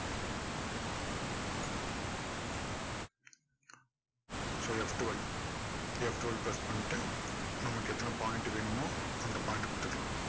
so F twelve F twelve press பண்ணிட்டு நமக்கு எத்தனை point வேணுமோ அந்த point அ கொடுத்துக்கலாம்